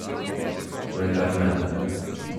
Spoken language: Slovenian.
Vendar ne.